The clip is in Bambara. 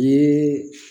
Ee